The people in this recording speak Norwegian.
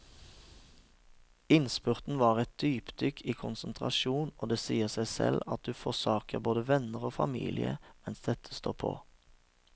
Innspurten var et dypdykk i konsentrasjon, og det sier seg selv at du forsaker både venner og familie mens dette står på.